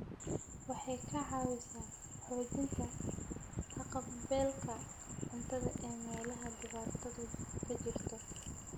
Waxay ka caawisaa xoojinta haqab-beelka cuntada ee meelaha dhibaatadu ka jirto.